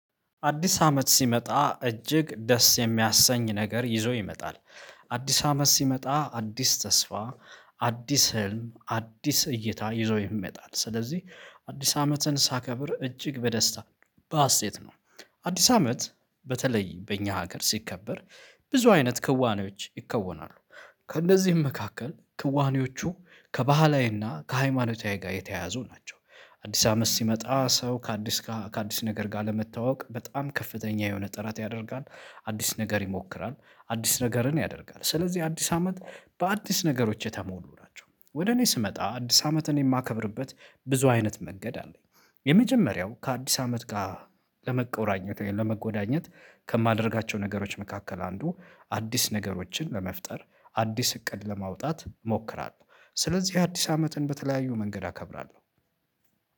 አዲስ አመት ሲመጣ እጅግ ደስ የሚያሰኝ ነገር ይዞ ይመጣል። አዲስ አመት ሲመጣ አዲስ ተስፋ አዲስ ህልም አዲስ እይታ ይዞ ይመጣል ስለዚህ አዲስ አመትን ሳከብር እጅግ በደስታ በሀሴት ነው። አዲስ አመት በተለይ በእኛ ሀገር ሲከበር ብዙ አይነት ክዋኔዎች ይከወናሉ። ከእነዚህም መካከል ክዋኔዎቹ ከባህላዊና ከሃይማኖታዊ ጋር የተያያዙ ናቸው። አዲስ አመት ሲመጣ ሰው ከአዲስ ከአዲስ ነገር ጋር ለመታወቅ በጣም ከፍተኛ የሆነ ጥራት ያደርጋል። አዲስ ነገር ይሞክራል አዲስ ነገርን ያደርጋል ስለዚህ አዲስ አመት በአዲስ ነገሮች የተሞሉ ናቸው። ወደ እኔ ስመጣ አዲስ አመትን የማከብርበት ብዙ አይነት መንገድ አለኝ። የመጀመሪያው ከአዲስ አመት ጋር ለመቆራኘት ለመጎዳኘት ከማደርጋቸው ነገሮች መካከል አንዱ አዲስ ነገሮችን ለመፍጠር አዲስ እቅድ ለማውጣት እሞክራለሁ። ስለዚህ አዲስ አመትን በተለያዩ መንገድ አከብራለሁ።